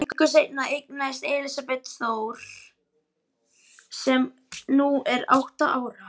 Löngu seinna eignaðist Elísabet Þór sem nú er átta ára.